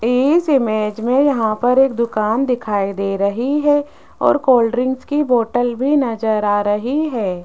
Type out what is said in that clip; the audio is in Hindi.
इस इमेज में यहां पर एक दुकान दिखाई दे रही है और कोल्ड ड्रिंक की बोतल भी नजर आ रही है।